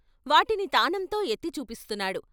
వాటిని తానంతో ఎత్తి చూపిస్తున్నాడు.